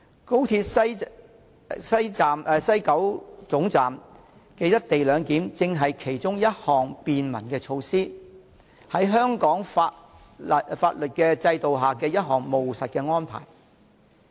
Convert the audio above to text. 高鐵西九總站的"一地兩檢"安排正是其中一項合乎香港法律制度的務實便民措施。